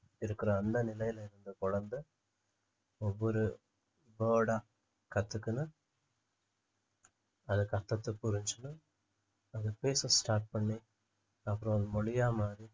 இருக்கிற அந்த நிலையில இருந்த குழந்தை ஒவ்வொரு word ஆ கத்துக்கணும் அது கத்துறது புரிஞ்சுச்சுன்னு அது பேச start பண்ணி அப்புறம் அது மொழியா மாறி